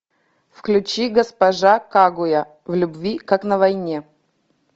включи госпожа кагуя в любви как на войне